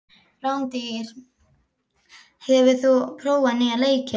Randý, hefur þú prófað nýja leikinn?